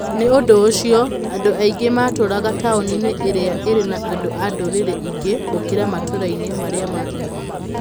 Nĩ ũndũ ũcio, andũ aingĩ matũũraga taũni-inĩ iria irĩ na andũ a ndũrĩrĩ ingĩ gũkĩra matũũra-inĩ marĩa mangĩ.